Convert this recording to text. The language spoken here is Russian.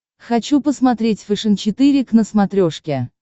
хочу посмотреть фэшен четыре к на смотрешке